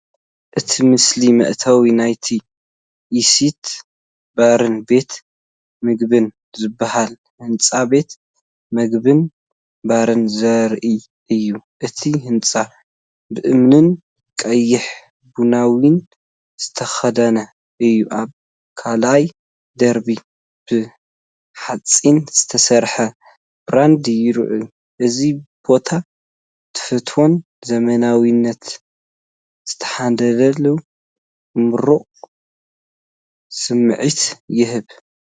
እቲ ምስሊ መእተዊ ናይቲ "ኤሰት ባርን ቤት ምግብን" ዝበሃል ህንጻ ቤት መግብን ባርን ዘርኢ እዩ። እቲ ህንጻ ብእምንን ቀይሕ ቡናዊን ዝተኸድነ እዩ። ኣብ ካልኣይ ደርቢ ብሓጺን ዝተሰርሐ ብራንዳ ይርአ። እዚ ቦታ ትውፊትን ዘመናዊነትን ዝተዋሃሃደሉ ምቁር ስምዒት ይህብ።